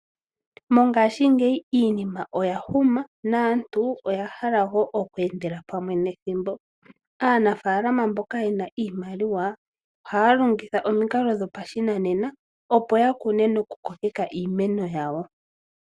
Mongaashingeyi iinima oya huma naantu oyahala wo okweendela pamwe nethimbo, aanafaalama mboka yena iimaliwaa ohaya longitha omikalo dhopashinanena opo yakune noku kokeka iimeno yawo.